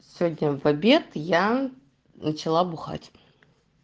сегодня в обед я начала бухать